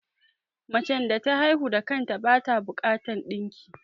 Macen da ta haihu da kanta bata bukatar ɗinki